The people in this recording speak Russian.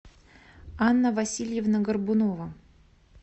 анна васильевна горбунова